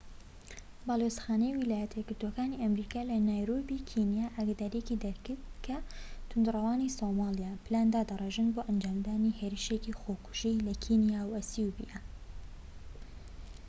باڵوێزخانەی ویلایەتە یەکگرتووەکانی ئەمریکا لە نایرۆبی کینیا ئاگاداریەکی دەرکرد کە تووندڕەوانی سۆمالیا پلان دادەڕێژن بۆ ئەنجامدانی هێرشی خۆکوژی لە کینیا و ئەسیوبیا